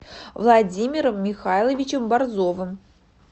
владимиром михайловичем борзовым